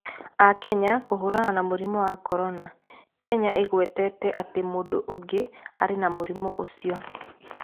Akenya kũhũrana na mũrimũ wa Korona: Kenya ĩgwetete atĩ mũndũ ũngĩ arĩ na mũrimũ ũcio